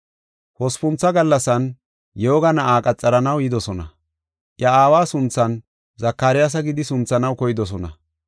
Hospuntha gallasan yooga na7aa qaxaranaw yidosona. Iya aawa sunthan Zakaryaasa gidi sunthanaw koydosona.